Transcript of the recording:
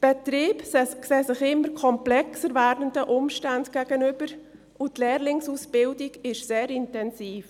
Die Betriebe sehen sich immer komplexer werdenden Umständen gegenüber, und die Lehrlingsausbildung ist sehr intensiv.